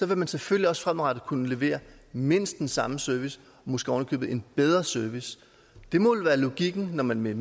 vil man selvfølgelig også fremadrettet kunne levere mindst den samme service og måske oven i købet en bedre service det må vel være logikken at når man med